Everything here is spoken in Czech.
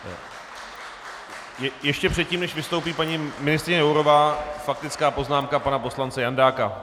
Ještě předtím, než vystoupí paní ministryně Jourová, faktická poznámka pana poslance Jandáka.